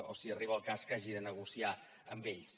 o si arriba el cas que hagi de negociar amb ells